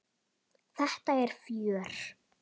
Þetta er fjör.